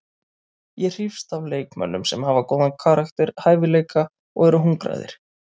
Ég hrífst að leikmönnum sem hafa góðan karakter, hæfileika og eru hungraðir.